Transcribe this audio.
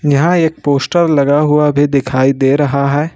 यहां एक पोस्टर लगा हुआ भी दिखाई दे रहा है।